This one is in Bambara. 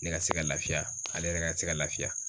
Ne ka se ka lafiya ale yɛrɛ ka se ka lafiya